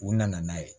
U nana n'a ye